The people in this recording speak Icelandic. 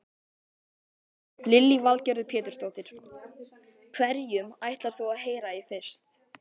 Lillý Valgerður Pétursdóttir: Hverjum ætlar þú að heyra í fyrst?